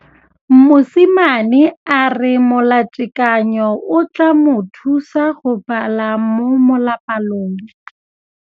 Mosimane a re molatekanyô o tla mo thusa go bala mo molapalong.